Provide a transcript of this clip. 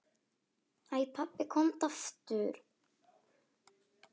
Æ pabbi, komdu aftur.